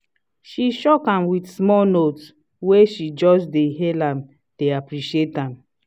she shock am with small note wey she just dey hail am dey appreciate am.